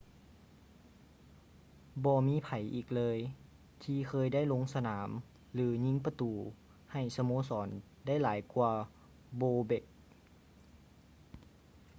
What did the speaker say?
ບໍ່ມີໃຜອີກເລີຍ ທີ່ເຄີຍໄດ້ລົງສະໜາມ ຫຼື ຍິງປະຕູ ໃຫ້ສະໂມສອນ ໄດ້ຫຼາຍກວ່າ bobek